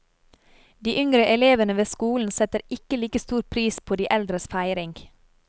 De yngre elevene ved skolen setter ikke like stor pris på de eldres feiring.